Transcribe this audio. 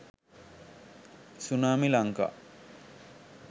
tsunami lanka